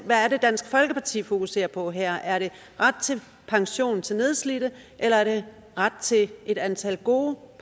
er det dansk folkeparti fokuserer på her er det ret til pension til nedslidte eller er det ret til et antal gode